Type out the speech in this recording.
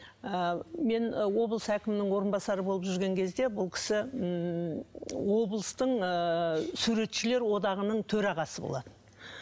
ы мен ы облыс әкімінің орынбасары болып жүрген кезде бұл кісі ммм облыстың ыыы суретшілер одағаның төрағасы болатын